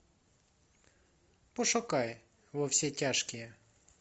пошукай во все тяжкие